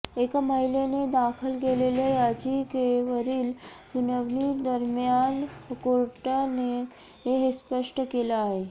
एका महिलेने दाखल केलेल्या याचिकेवरील सुनावणीदरम्यान कोर्टाने हे स्पष्ट केलं आहे